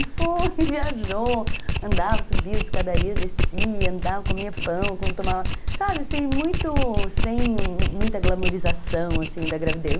E foi, viajou, andava, subia as escadarias, descia, andava, comia pão, tomava... Sabe, assim, sem muita glamorização, assim, da gravidez.